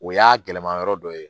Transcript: O y'a gɛlɛma yɔrɔ dɔ ye